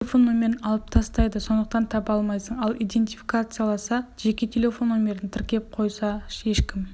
себебі телефон нөмірін алып тастайды сондықтан таба алмайсың ал идентификацияласа жеке телефон нөмірін тіркеп қойса ешкім